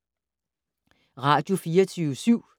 Radio24syv